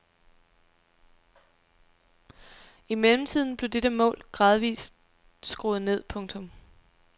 I mellemtiden blev dette mål gradvist skruet ned. punktum